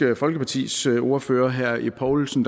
folkepartis ordfører herre ib poulsen